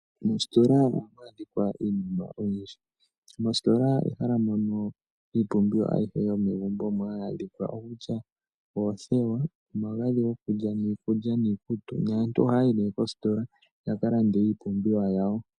Moositola ohamu adhika iinima oyindji. Moositola ehala mono iipumbiwa ayihe yomegumbo omo hayi adhika. Okutya oothewa, omagadhi gokulya, niikutu naantu ohaya yi nee koositola yaka lande iipumbiwa yawo.